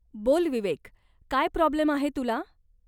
बोल विवेक, काय प्रॉब्लेम आहे तुला?